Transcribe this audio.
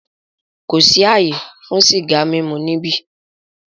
Kò sí àyè fún sìgá mímu níbí!